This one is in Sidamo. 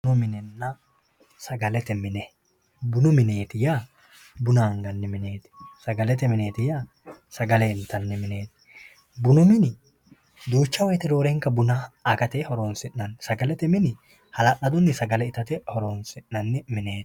Bunu minenna sagalete mine bunu mineeti yaa buna anganni mineeti sagalete mineeti yaa sagale intanni mineeti bunu mini duucha woyte roorenka buna agate horonsi'nanni mineeti sagalete mini hala'ladunni sagale itate horonsi'nanni mineeti